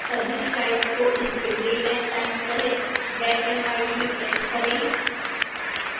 सभी slides को इसके date and time सहित black and white में print करें